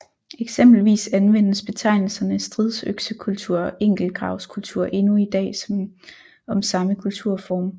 Eksempelvis anvendes betegnelserne stridsøksekultur og enkeltgravskultur endnu i dag om samme kulturform